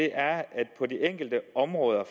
er at på de enkelte